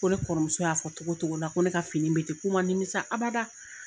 Ko ne kɔrɔmuso y'a fɔ togo togo la ko ne ka fini bɛ tɛ k'u man nimisa abada.